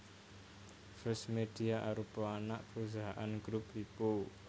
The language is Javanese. First Media arupa anak perusahaan Grup Lippo